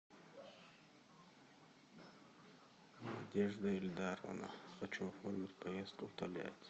надежда эльдаровна хочу оформить поездку в тольятти